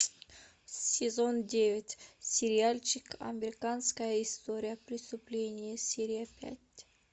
сезон девять сериальчик американская история преступлений серия пять